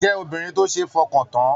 Jẹ obìnrin tó ṣe f'ọkan tán!